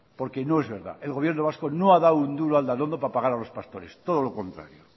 porque no es verdad el gobierno vasco no ha dado un duro a aldanondo para pagar a los pastores todo lo contrario